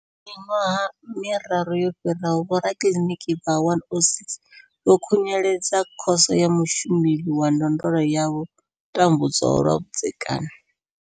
Miṅwaha miraru yo fhiraho, vhorakiliniki vha 106 vho khunyeledza Khoso ya Mushumeli wa Ndondolo ya vho tambudzwaho lwa vhudzekani.